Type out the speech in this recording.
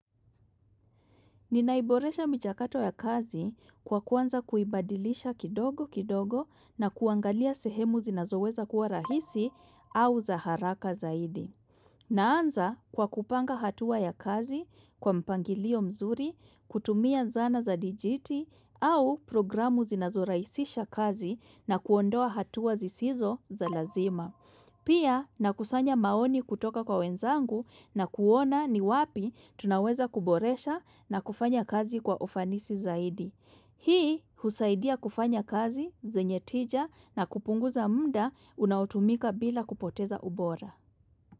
Ninaiboresha mchakato ya kazi kwa kwanza kuibadilisha kidogo kidogo na kuangalia sehemu zinazoweza kuwa rahisi au za haraka zaidi. Naanza kwa kupanga hatua ya kazi, kwa mpangilio mzuri, kutumia zana za dijiti au programu zinazorahisisha kazi na kuondoa hatua zisizo za lazima. Pia nakusanya maoni kutoka kwa wenzangu na kuona ni wapi tunaweza kuboresha na kufanya kazi kwa ufanisi zaidi. Hii husaidia kufanya kazi, zenye tija na kupunguza mda unaotumika bila kupoteza ubora.